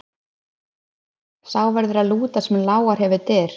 Sá verður að lúta sem lágar hefur dyr.